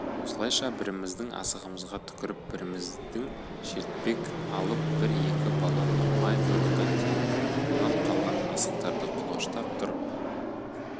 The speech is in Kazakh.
осылайша біріміздің асығымызға түкіріп бірімізден шертпек алып бір-екі баланы май құйрықтан теуіп онан қалған асықтарды құлаштап тұрып